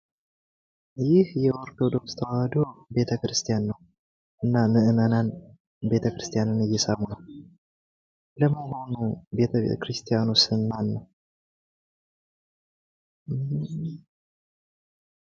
ይህ የኦርቶዶክስ ተዋሕዶ ቤተክርስቲያን ነው። ምዕመናን ቤተክርስቲያን እየሳሙ ነው። ለመሆኑ የቤተክርስቲያኑ ስም ማን ነው ?